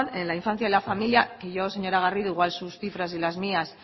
en la infancia y la familia que yo señora garrido igual sus cifras y las mías